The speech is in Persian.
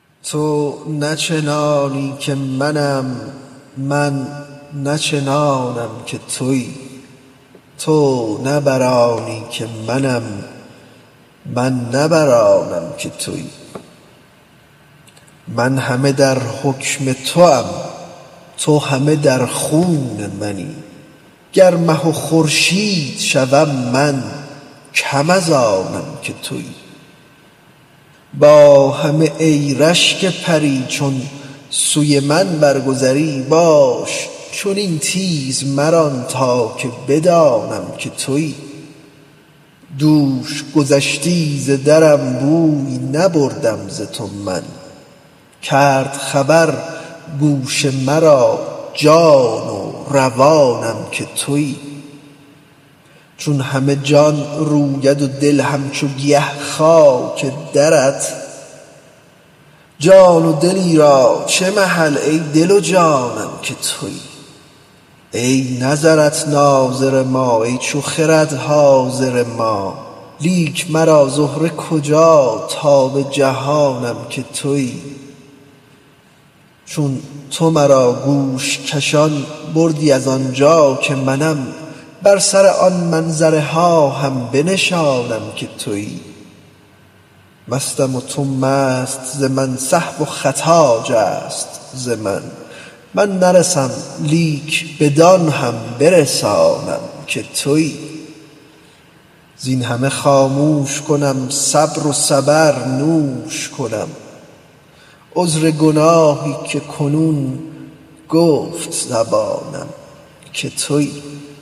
تو نه چنانی که منم من نه چنانم که تویی تو نه بر آنی که منم من نه بر آنم که تویی من همه در حکم توام تو همه در خون منی گر مه و خورشید شوم من کم از آنم که تویی با همه ای رشک پری چون سوی من برگذری باش چنین تیز مران تا که بدانم که تویی دوش گذشتی ز درم بوی نبردم ز تو من کرد خبر گوش مرا جان و روانم که تویی چون همه جان روید و دل همچو گیا خاک درت جان و دلی را چه محل ای دل و جانم که تویی ای نظرت ناظر ما ای چو خرد حاضر ما لیک مرا زهره کجا تا بجهانم که تویی چون تو مرا گوش کشان بردی از آن جا که منم بر سر آن منظره ها هم بنشانم که تویی مستم و تو مست ز من سهو و خطا جست ز من من نرسم لیک بدان هم تو رسانم که تویی زین همه خاموش کنم صبر و صبر نوش کنم عذر گناهی که کنون گفت زبانم که تویی